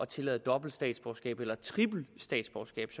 tillade dobbelt statsborgerskab eller tripelstatsborgerskab